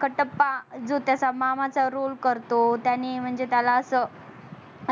कटप्पा जो त्याच्या मामाचा roll करतो त्यांनी म्हणजे त्याला अस